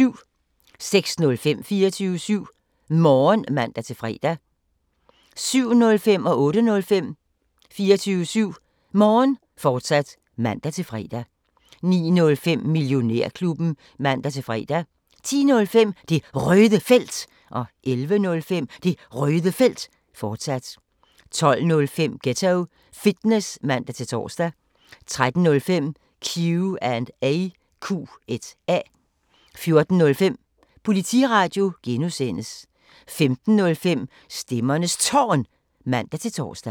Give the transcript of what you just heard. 06:05: 24syv Morgen (man-fre) 07:05: 24syv Morgen, fortsat (man-fre) 08:05: 24syv Morgen, fortsat (man-fre) 09:05: Millionærklubben (man-fre) 10:05: Det Røde Felt 11:05: Det Røde Felt, fortsat 12:05: Ghetto Fitness (man-tor) 13:05: Q&A 14:05: Politiradio (G) 15:05: Stemmernes Tårn (man-tor)